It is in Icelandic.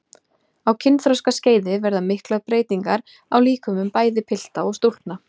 Á kynþroskaskeiði verða miklar breytingar á líkömum bæði pilta og stúlkna.